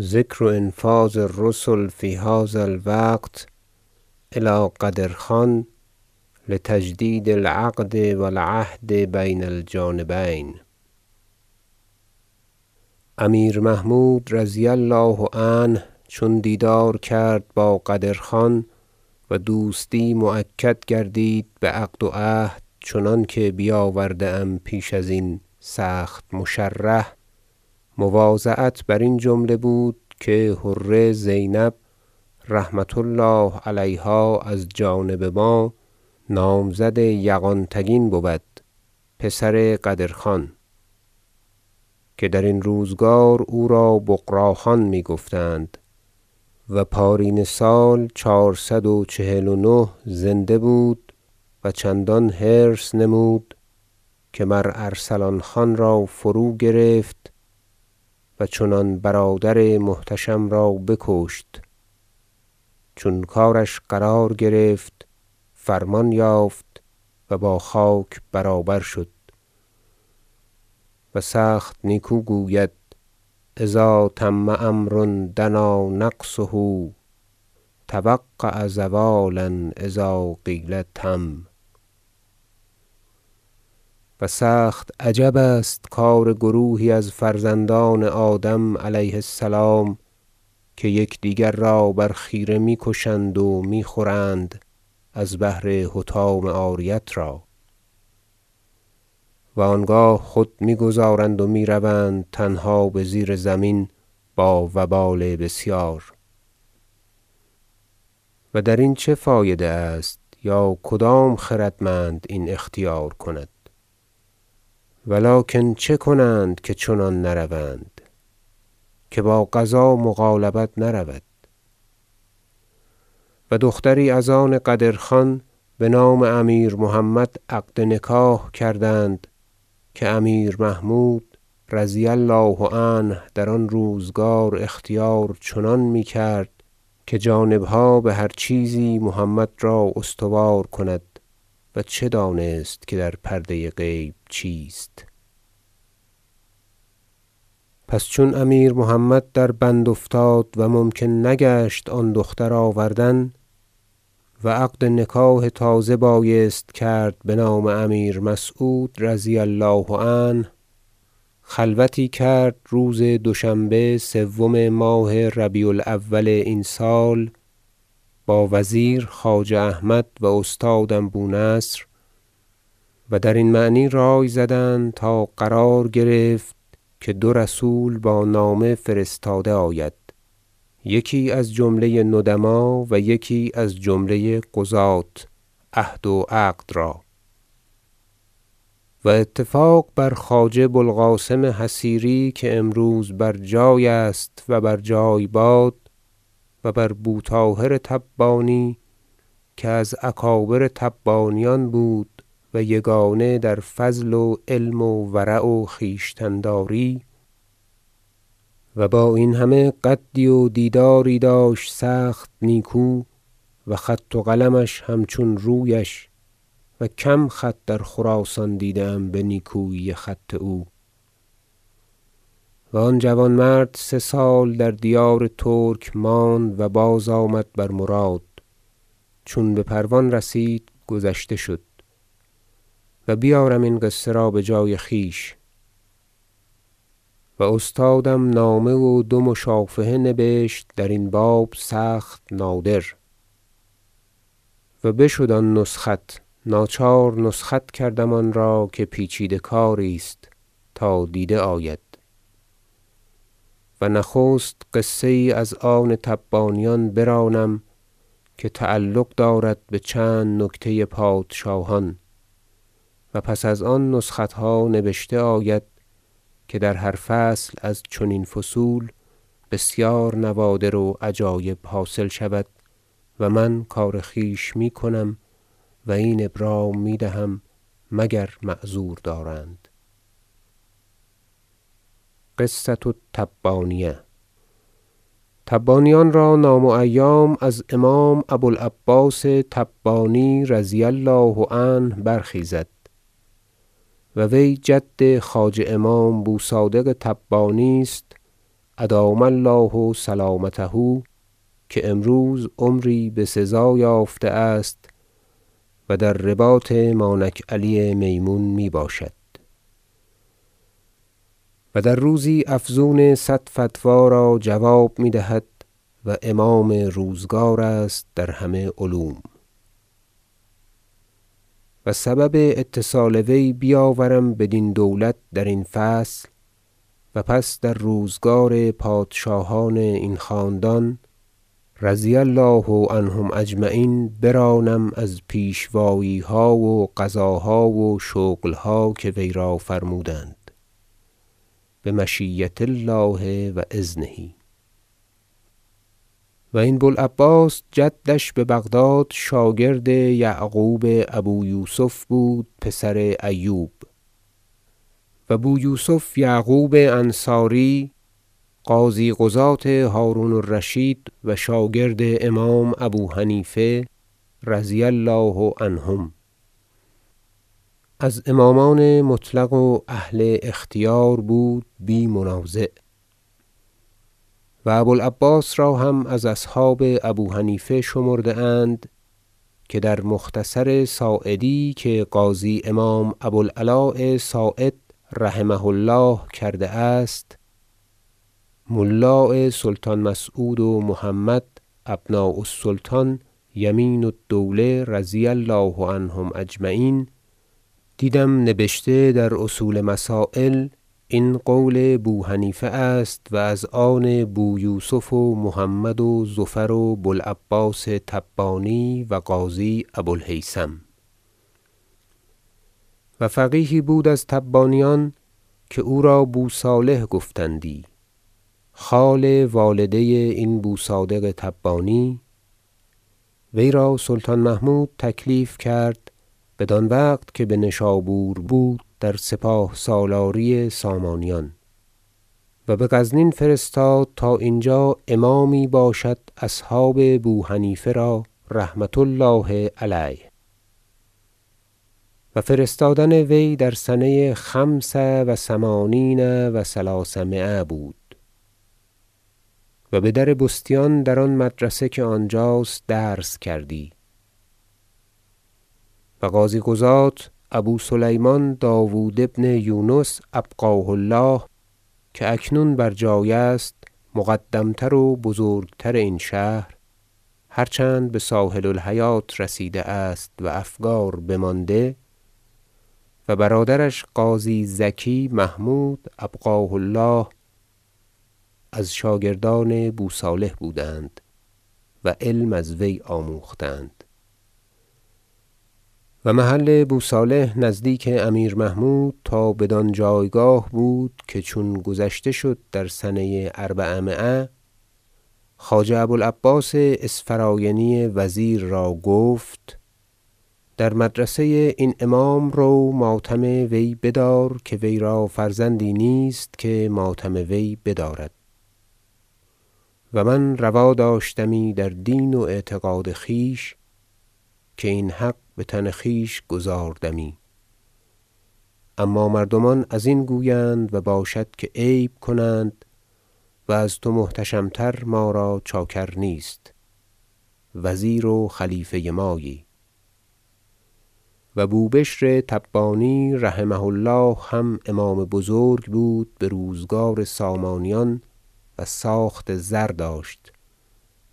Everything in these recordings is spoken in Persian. ذکر انفاذ الرسل فی هذا الوقت الی قدر خان لتجدید العقد و العهد بین الجانبین امیر محمود رضی الله عنه چون دیدار کرد با قدر خان و دوستی مؤکد گردید بعقد و عهد چنانکه بیاورده ام پیش ازین سخت مشرح مواضعت برین جمله بود که حره زینب رحمة الله علیها از جانب ما نامزد یغان تگین بود پسر قدر خان که درین روزگار او را بغراخان می گفتند- و پارینه سال چهارصد و چهل و نه زنده بود و چندان حرص نمود که مر ارسلان خان را فروگرفت و چنان برادر محتشم را بکشت چون کارش قرار گرفت فرمان یافت و با خاک برابر شد و سخت نیکو گوید شعر اذا تم امر دنا نقصه توقع زوالا اذا قیل تم و سخت عجب است کار گروهی از فرزندان آدم علیه السلام که یکدیگر را بر خیره میکشند و می خورند از بهر حطام عاریت را و آنگاه خود می گذارند و می روند تنها بزیر زمین با وبال بسیار و درین چه فایده است یا کدام خردمند این اختیار کند و لکن چه کنند که چنان نروند که باقضا مغالبت نرود- و دختری از آن قدر خان بنام امیر محمد عقد نکاح کردند که امیر محمود رضی الله عنه در آن روزگار اختیار چنان می کرد که جانبها بهر چیزی محمد را استوار کند و چه دانست که در پرده غیب چیست پس چون امیر محمد در بند افتاد و ممکن نگشت آن دختر آوردن و عقد نکاح تازه بایست کرد بنام امیر مسعود رضی الله عنه خلوتی کرد روز دوشنبه سوم ماه ربیع الاول این سال با وزیر خواجه احمد و استادم بو نصر و درین معنی رأی زدند تا قرار گرفت که دو رسول با نامه فرستاده آید یکی از جمله ندماء و یکی از جمله قضاة عهد و عقد را و اتفاق بر خواجه بو القاسم حصیری که امروز بر جای است و بر جای باد و بر بو طاهر تبانی که از اکابر تبانیان بود و یگانه در فضل و علم و ورع و خویشتن داری و با این همه قدی و دیداری داشت سخت نیکو و خط و قلمش همچون رویش - و کم خط در خراسان دیدم به نیکویی خط او و آن جوانمرد سه سال در دیار ترک ماند و بازآمد بر مراد چون به پروان رسید گذشته شد و بیارم این قصه را بجای خویش و استادم نامه و دو مشافهه نبشت درین باب سخت نادر و بشد آن نسخت ناچار نسخت کردم آن را که پیچیده کاری است تا دیده آید و نخست قصه یی از آن تبانیان برانم که تعلق دارد بچند نکته پادشاهان و پس از آن نسختها نبشته آید که در هر فصل از چنین فصول بسیار نوادر و عجایب حاصل شود و من کار خویش میکنم و این ابرام میدهم مگر معذور دارند قصة التبانیه تبانیان را نام و ایام از امام ابو العباس تبانی رضی الله عنه برخیزد و وی جد خواجه امام بو صادق تبانی است ادام الله سلامته که امروز عمری بسزا یافته است و در رباط مانک علی میمون می باشد و در روزی افزون صد فتوی را جواب میدهد و امام روزگار است در همه علوم و سبب اتصال وی بیاورم بدین دولت درین فصل و پس در روزگار پادشاهان این خاندان رضی الله عنهم اجمعین برانم از پیشواییها و قضاها و شغلها که وی را فرمودند بمشیة الله و اذنه و این بو العباس جدش ببغداد شاگرد یعقوب ابو یوسف بود پسر ایوب و بو یوسف یعقوب انصاری قاضی قضاة هرون الرشید و شاگرد امام ابو حنیفه رضی الله عنهم از امامان مطلق و اهل اختیار بود بی منازع و ابو العباس را هم از اصحاب ابو حنیفه شمرده اند که در مختصر صاعدی که قاضی امام ابو العلاء صاعد رحمه الله کرده است ملاء سلطان مسعود و محمد ابنا السلطان یمین الدوله رضی الله عنهم اجمعین دیدم نبشته در اصول مسایل این قول بو حنیفه است و از آن بو یوسف و محمد و زفر و بو العباس تبانی و قاضی ابو الهیثم و فقیهی بود از تبانیان که او را بو صالح گفتندی خال والده این بو صادق تبانی وی را سلطان محمود تکلیف کرد بدان وقت که بنشابور بود در سپاه سالاری سامانیان و بغزنین فرستاد تا اینجا امامی باشد اصحاب بو حنیفه را رحمة الله علیه و فرستادن وی در سنه خمس و ثمانین و ثلاثمایه و بدربستیان در آن مدرسه که آنجاست درس کردی و قاضی قضاة ابو سلیمان داود بن یونس ابقاه الله که اکنون بر جای است مقدم تر و بزرگتر این شهر- هرچند بساحل الحیاة رسیده است و افگار بمانده- و برادرش قاضی زکی محمود ابقاه الله از شاگردان بو صالح بودند و علم از وی آموختند و محل بو صالح نزدیک امیر محمود تا بدان جایگاه بود که چون گذشته شد در سنه اربعمایه خواجه ابو العباس اسفراینی وزیر را گفت در مدرسه این امام رو ماتم وی بدار که وی را فرزندی نیست که ماتم وی بدارد و من روا داشتمی در دین و اعتقاد خویش که این حق بتن خویش گزاردمی اما مردمان ازین گویند و باشد که عیب کنند و از تو محتشم تر ما را چاکر نیست وزیر و خلیفه مایی و بو بشر تبانی رحمه الله هم امام بزرگ بود بروزگار سامانیان و ساخت زر داشت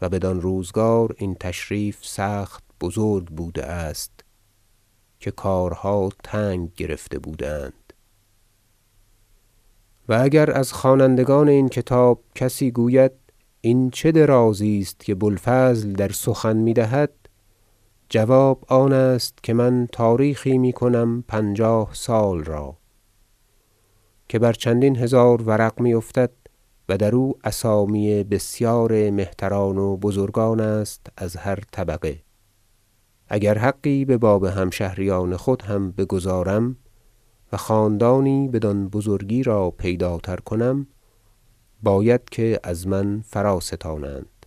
و بدان روزگار این تشریف سخت بزرگ بوده است که کارها تنگ گرفته بوده اند و اگر از خوانندگان این کتاب کسی گوید این چه درازی است که بو الفضل در سخن میدهد جواب آنست که من تاریخی میکنم پنجاه سال را که بر چندین هزار ورق می افتد و در او اسامی بسیار مهتران و بزرگان است از هر طبقه اگر حقی بباب همشهریان خود هم بگزارم و خاندانی بدان بزرگی را پیداتر کنم باید که از من فراستانند